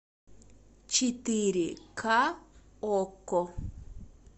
четыре ка окко